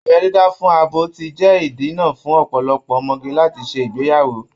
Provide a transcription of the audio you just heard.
Abẹ́ dídá fún abo ti jẹ́ ìdènà fún ọ̀pọ̀lọpọ̀ ọmọge láti ṣe ìgbéyàwó